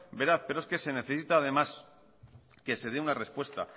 veraz pero es que se necesita además que se dé una respuesta